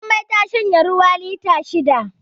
Jummai ta shanye ruwa lita shida